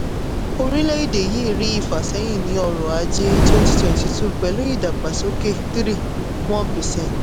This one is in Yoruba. orílẹ̀-èdè yìí rí ìfàsẹ́yìn ní ọrọ̀ ajé twenty twenty two pẹ̀lú ìdàgbàsókè three point one percent.